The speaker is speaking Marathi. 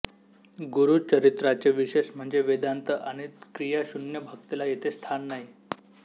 गुरुचरित्राचे विशेष म्हणजे वेदान्त आणि क्रियाशून्य भक्तीला येथे स्थान नाही